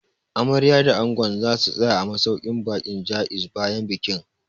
Amaryar da Angon za su tsaya a masauƙin baƙin Jaiz bayan bikin